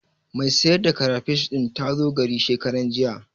Mai sayar da karafish ɗin ta zo gari shekaranjiya.